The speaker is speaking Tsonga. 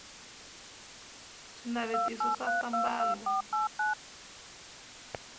swinavetiso swa sambalo